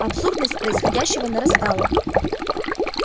абсурдность происходящего нарастала